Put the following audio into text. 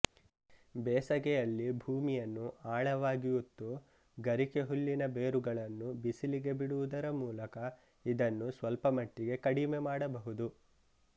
ಬೇಸಗೆಯಲ್ಲಿ ಭೂಮಿಯನ್ನು ಆಳವಾಗಿ ಉತ್ತು ಗರಿಕೆಹುಲ್ಲಿನ ಬೇರುಗಳನ್ನು ಬಿಸಿಲಿಗೆ ಬಿಡುವುದರ ಮೂಲಕ ಇದನ್ನು ಸ್ವಲ್ಪಮಟ್ಟಿಗೆ ಕಡಿಮೆ ಮಾಡಬಹುದು